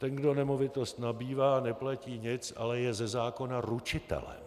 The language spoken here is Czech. Ten, kdo nemovitost nabývá, neplatí nic, ale je ze zákona ručitelem.